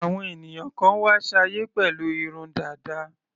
Àwọn ènìyàn kan wá sáyé pẹ̀lú irun dàda.